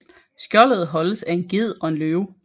Skjoldet holdes af en ged og en løve